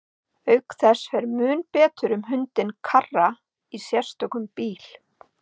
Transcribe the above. Auk þess fer mun betur um hundinn Karra í sérstökum bíl.